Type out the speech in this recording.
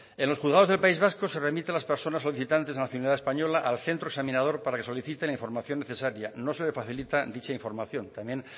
en los juzgados del país vasco se remiten las personas solicitantes de nacionalidad española al centro examinador para que solicite la información necesaria no se le facilita dicha información también